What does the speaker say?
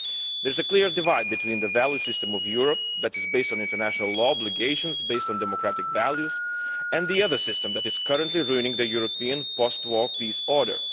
There is a clear divide between the value system of Europe, which is based on international law and obligations based on democratic values, and the other system, which is currently ruining the European post-war peace order.